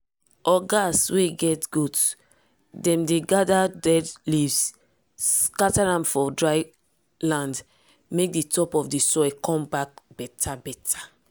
ogas wey dey get goat dem dey gather dead leaves scatter am for dry land make di top of the soil come back beta-beta.